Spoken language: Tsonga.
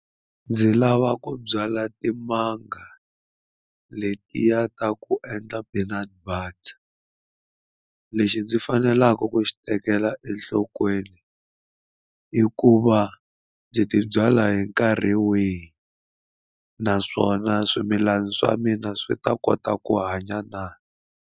Ndzi lava ku byala timanga letiya ta ku endla peanut butter lexi ndzi faneleke ku xi tekela enhlokweni i ku va ndzi ti byala hi nkarhi wihi naswona swimilana swa mina swi ta kota ku hanya na.